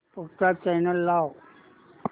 पुढचा चॅनल लाव